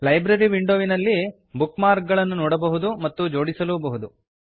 library ವಿಂಡೋವಿನಲ್ಲಿ bookmark ಗಳನ್ನು ನೋಡಬಹುದು ಮತ್ತು ಜೋಡಿಸಲೂಬಹುದು